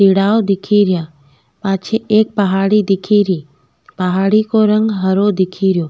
दिखेरा पाछे एक पहाड़ी दिखेरी पहाड़ी को रंग हरो दिखे रो।